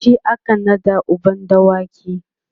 shi aka naɗa uban dawaki